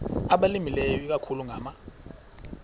abalimileyo ikakhulu ngama